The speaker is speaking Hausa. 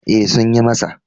E, Sun yi masa.